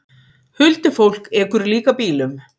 Huldufólk ekur líka bílum